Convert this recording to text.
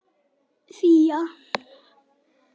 Fía